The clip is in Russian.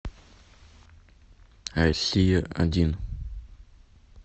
россия один